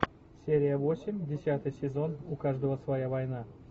серия восемь десятый сезон у каждого своя война